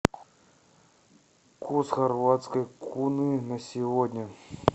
курс хорватской куны на сегодня